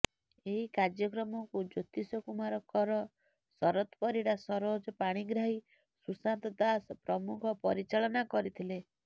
ଏହି କାର୍ଯ୍ୟକ୍ରମକୁ ଜ୍ୟୋତିଷ କୁମାର କର ଶରତ ପରିଡ଼ା ସରୋଜ ପାଣିଗ୍ରାହୀ ସୁଶାନ୍ତ ଦାସ ପ୍ରମୁଖ ପରିଚାଳନା କରିଥିଲେ